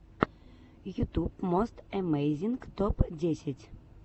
ютуб мост эмейзинг топ десять